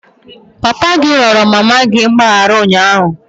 Papa gi ayọrọ mama gị mgbaghara ụnyahụ?